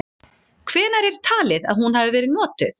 Hvenær er talið að hún hafi verið notuð?.